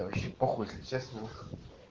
да вообще похуй если честно